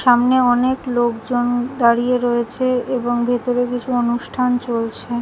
সামনে অনেক লোকজন দাঁড়িয়ে রয়েছে এবং ভেতরে কিছু অনুষ্ঠান চলছে।